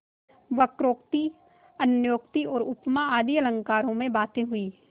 वक्रोक्ति अन्योक्ति और उपमा आदि अलंकारों में बातें हुईं